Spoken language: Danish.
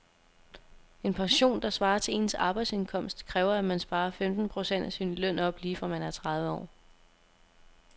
En pension, der svarer til ens arbejdsindkomst, kræver at man sparer femten procent af sin løn op lige fra man er tredive år.